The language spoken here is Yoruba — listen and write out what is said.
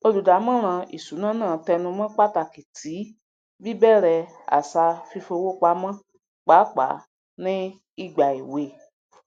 olùdámọràn ìṣúná náà tẹnùmọ pàtàkì ti bíbẹrẹ àṣà fífowópamọ pàápàá ní ìgbà èwe